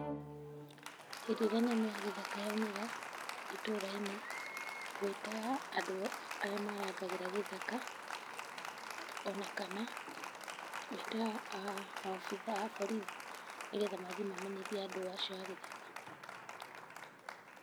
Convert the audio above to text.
Hĩndĩ ĩrĩa nyamũ ya gĩthaka yaumĩra, itũra-inĩ, ngwĩta andũ arĩa marangagĩra gĩthaka, o na kana, ngwĩta maobithaa a borithi, nĩgetha mathiĩ mamenyitie andũ acio a gĩthaka.